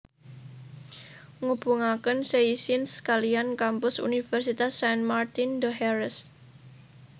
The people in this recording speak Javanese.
Ngubungaken Seyssins kaliyan kampus universitas Saint Martin d Hères